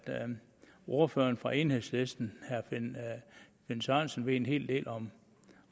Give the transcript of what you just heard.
ordføreren for enhedslisten herre finn sørensen ved en hel del om